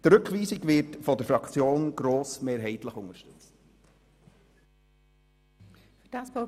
Die Rückweisung wird von der glp-Fraktion grossmehrheitlich unterstützt.